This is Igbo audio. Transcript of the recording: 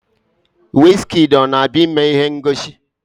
Wizkịdi ọ na-abịa ime ihe ngosi?